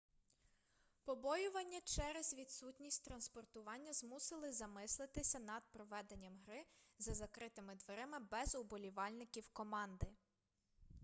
побоювання через відсутність транспортування змусили замислитися над проведенням гри за закритими дверима без уболівальників команди